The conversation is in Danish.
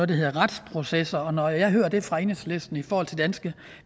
der hedder retsprocesser når jeg hører det fra enhedslisten i forhold til danske